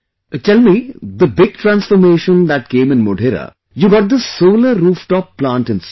Tell me, the big transformation that came in Modhera, you got this Solar Rooftop Plant installed